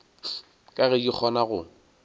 ka ge di kgona go